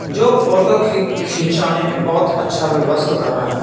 जो फोटो खी खिंचाने में बहोत अच्छा व्यवस्थ कर रहे--